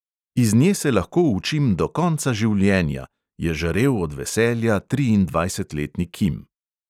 "Iz nje se lahko učim do konca življenja," je žarel od veselja triindvajsetletni kim.